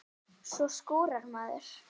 Svo skúrar maður.